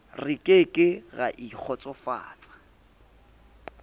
re ke ke ra ikgotsofatsa